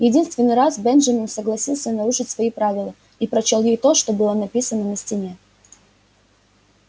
единственный раз бенджамин согласился нарушить свои правила и прочёл ей то что было написано на стене